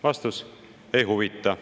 Vastus: ei huvita.